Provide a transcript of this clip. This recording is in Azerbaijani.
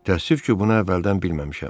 Təəssüf ki, bunu əvvəldən bilməmişəm.